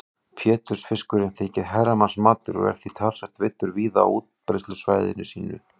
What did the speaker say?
Pétursfiskurinn þykir herramannsmatur og er því talsvert veiddur víða á útbreiðslusvæði sínu.